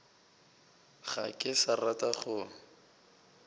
ga ke sa rata go